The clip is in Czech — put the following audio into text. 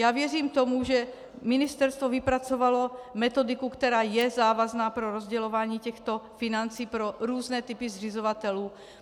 Já věřím tomu, že ministerstvo vypracovalo metodiku, která je závazná pro rozdělování těchto financí pro různé typy zřizovatelů.